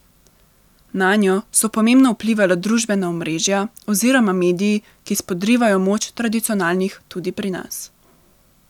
Nanjo so pomembno vplivala družbena omrežja oziroma mediji, ki spodrivajo moč tradicionalnih tudi pri nas.